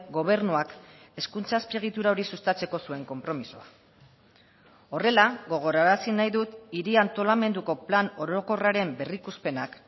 gobernuak hezkuntza azpiegitura hori sustatzeko zuen konpromisoa horrela gogorarazi nahi dut hiri antolamenduko plan orokorraren berrikuspenak